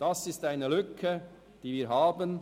In diesem Bereich bestehen Lücken.